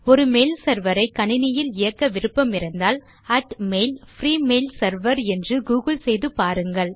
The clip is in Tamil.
ஒரு மெயில் செர்வர் ஐ கணினியில் இயக்க விருப்பமிருந்தால் at mail free mail server என்று கூகிள் செய்து பாருங்கள்